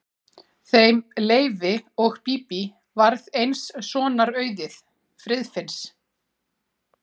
Þeim Leifi og Bíbí varð eins sonar auðið, Friðfinns.